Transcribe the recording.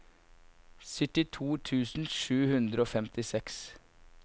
syttito tusen sju hundre og femtiseks